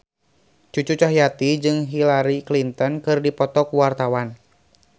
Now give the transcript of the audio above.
Cucu Cahyati jeung Hillary Clinton keur dipoto ku wartawan